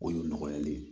O y'o nɔgɔyali ye